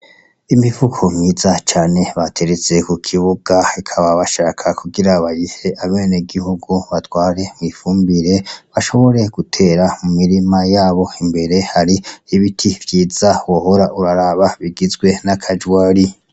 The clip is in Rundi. Imifuko myiza cane bateretse ku kibuga bakaba bashaka kugira bayihe abenegihugu batware mw'ifumbire bashobore gutera mu mirima yabo, imbere hari ibiti vyiza wohora uraraba bigizwe n'akajwari.